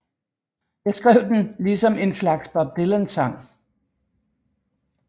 Jeg skrev den ligesom en slags Bob Dylan sang